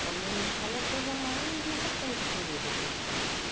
O pavilhão da escola é a coisa mais importante que tem dentro de uma escola de